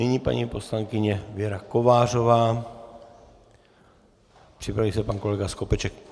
Nyní paní poslankyně Věra Kovářová, připraví se pan kolega Skopeček.